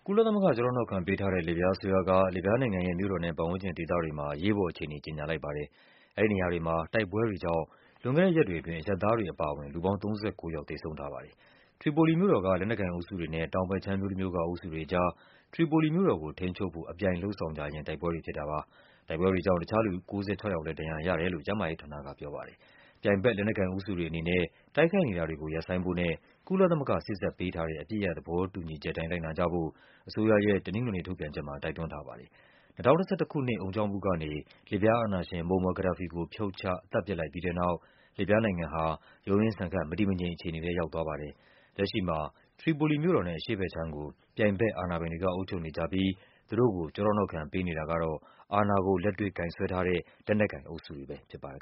ုလသမဂ္ဂ ကျောထောက်နောက်ခံပေးထားတဲ့ လစ်ဗျားအစိုးရက လစ်ဗျားနိုင်ငံရဲ့မြို့တော်နဲ့ ပတ်ဝန်းကျင်ဒေသတွေမှာ အရေးပေါ်အခြေအနေ ကြေညာလိုက်ပါတယ်။ အဲဒီနေရာတွေမှာ တိုက်ခိုက်မှုတွေကြောင့် လွန်ခဲ့တဲ့ရက်တွေအတွင်း အရပ်သား တွေအပါအဝင် လူပေါင်း ၃၉ ယောက် သေဆုံးထားပါတယ်။ ထရီပိုလီမြို့တော်က လက်နက်ကိုင်အုပ်စုတွေနဲ့ တောင်ဘက်ခြမ်း မြို့တမြို့က အုပ်စုတွေကြား ထရီပိုလီမြို့တော်ကို ထိန်းချုပ်ဖို့ အပြိုင်လုပ်ဆောင်ကြရင်း တိုက်ပွဲတွေဖြစ်တာပါ။ တိုက်ပွဲတွေကြောင့် တခြားလူ ၉၆ ယောက်လည်း ဒဏ်ရာရတယ်လို့ ကျန်းမာရေးဌာနက ပြောပါတယ်။ ပြိုင်ဘက် လက်နက်ကိုင်အုပ်စုတွေအနေနဲ့ တိုက်ခိုက်နေတာကို ရပ်ဆိုင်းဖို့နဲ့ ကုလသမဂ္ဂ စေ့စပ်ပေးထားတဲ့ အပစ်ရပ် သဘော တူညီချက်အတိုင်း လိုက်နာကြဖို့ အစိုးရရဲ့ တနင်္ဂနွေနေ့ထုတ်ပြန်ချက်မှာ တိုက်တွန်းထားပါတယ်။ ၂၀၁၁ ခုနှစ် အုံကြွမှုကနေ လစ်ဗျားအာဏာရှင် Moammar Gadhafi ကို ဖြုတ်ချ သတ်ပစ်လိုက်ပြီးတဲ့နောက် လစ်ဗျားနိုင်ငံဟာ ရုန်းရင်းဆန်ခတ် မတည်မငြိမ်အခြေအနေထဲ ရောက်သွားပါတယ်။ လက်ရှိမှာ ထရီပိုလီမြို့တော်နဲ့ အရှေ့ဘက်ခြမ်းကို ပြိုင်ဘက် အာဏာပိုင်တွေက အုပ်ချုပ်နေကြပြီး သူတို့ကို ကျောထောက်နောက်ခံ ပေးထားတာကတော့ အာဏာကို လက်တွေ့ကိုင်စွဲထား တဲ့ လက်နက်ကိုင်အုပ်စုတွေ ဖြစ်ပါတယ်